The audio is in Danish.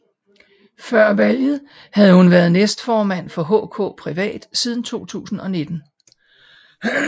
Før valget havde hun været næstformand for HK Privat siden 2019